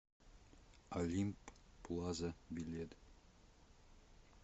олимп плаза билет